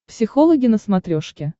психологи на смотрешке